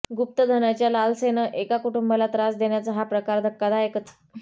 गुप्तधनाच्या लालसेनं एका कुटुंबाला त्रास देण्याचा हा प्रकार धक्कादायकच